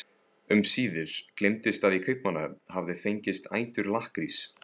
Um síðir gleymdist að í Kaupmannahöfn hafði fengist ætur lakkrís.